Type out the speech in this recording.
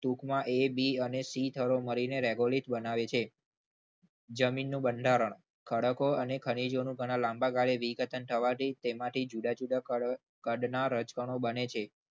ટૂંકમાં એબીસી થરો મળીને regolate બનાવે છે. જમીનનું બંધારણ ખડકો અને ખનીજોનું લાંબા ગાળ વિઘટન થવાથી તેમાંથી જુદા જુદા કદના રજ કરો રજકણો બને છે.